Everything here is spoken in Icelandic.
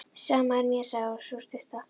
Sama er mér, sagði sú stutta.